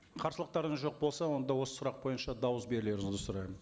қарсылықтарыңыз жоқ болса онда осы сұрақ бойынша дауыс берулеріңізді сұраймын